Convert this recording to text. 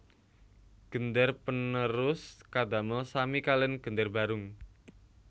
Gender panerus kadamel sami kaliyan gender barung